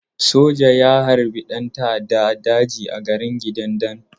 Soja ya harbi ɗan ta'adda a daji a garin Kidandan.